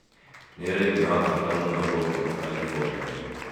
Nĩ ũrĩmi wa bata mũno gũkũ na California.